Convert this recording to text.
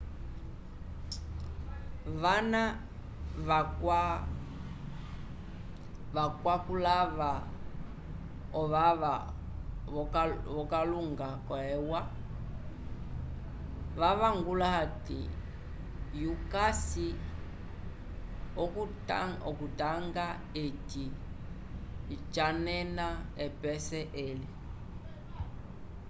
vana vakwakulava ovava vo kalunda yo e u a vavangula ati yukasi ookutanga eci janenena epese eli